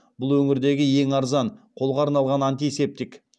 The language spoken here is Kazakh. бұл өңірдегі ең арзан қолға арналған антисептик